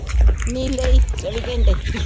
ਨੀਲੇ ਈ ਚਵੀ ਘੰਟੇ